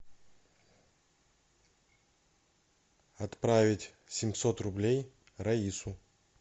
отправить семьсот рублей раису